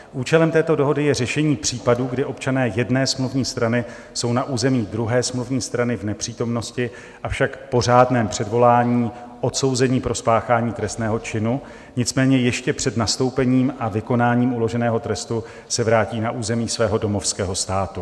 Účelem této dohody je řešení případů, kdy občané jedné smluvní strany jsou na území druhé smluvní strany v nepřítomnosti, avšak po řádném předvolání odsouzeni pro spáchání trestného činu, nicméně ještě před nastoupením a vykonáním uloženého trestu se vrátí na území svého domovského státu.